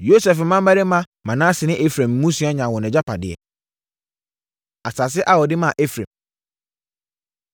Yosef mmammarima Manase ne Efraim mmusua nyaa wɔn agyapadeɛ. Asase A Wɔde Maa Efraim